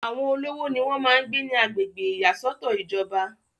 àwọn olówó ni wọ́n máa ń gbé ní agbègbè ìyàsọ́tọ̀ ìjọba